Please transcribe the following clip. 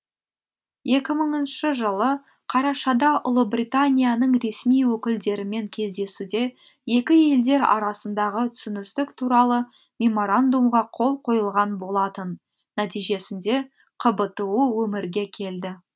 екі мыңыншы жылы қарашада ұлыбританияның ресми өкілдерімен кездесуде екі елдер арасындағы түсіністік туралы меморандумға қол қойылған болатын нәтижесінде қбту өмірге келді